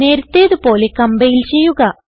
നേരത്തേത് പോലെ കംപൈൽ ചെയ്യുക